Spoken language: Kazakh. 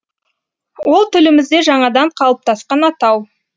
ол тілімізде жаңадан қалыптасқан атау